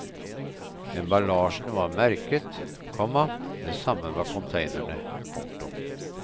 Emballasjen var merket, komma det samme var containerne. punktum